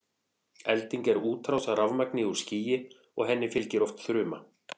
elding er útrás af rafmagni úr skýi og henni fylgir oft þruma